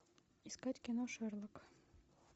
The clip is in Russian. искать кино шерлок